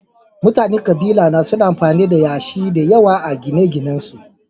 Mutanen kabilara suna amfani da yashi da yawa a gine-ginensu